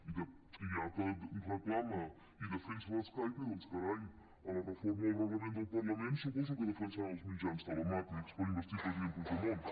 i ja que reclama i defensa l’skype doncs carai a la reforma del reglament del parlament suposo que defensaran els mitjans telemàtics per investir el president puigdemont